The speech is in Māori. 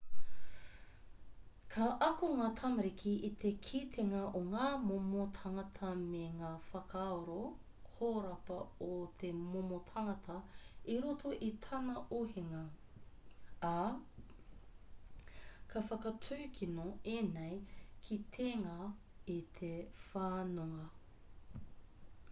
ka ako ngā tamariki i te kitenga o ngā momo tāngata me ngā whakaaro horapa o te momo tangata i roto i tana ohinga ā ka whakatūkino ēnei kitenga i te whanonga